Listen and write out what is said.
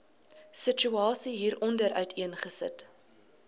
situasie hieronder uiteengesit